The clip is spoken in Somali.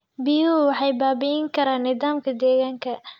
Biyuhu waxay baabi'in karaan nidaamka deegaanka.